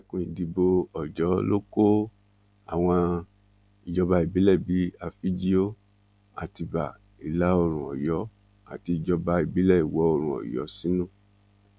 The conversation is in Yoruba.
ẹkùn ìdìbò ọjọ ló kó àwọn ìjọba ìbílẹ bíi àfíjío àtibá ìlàoòrùn ọyọ àti ìjọba ìbílẹ ìwọoòrùn ọyọ sínú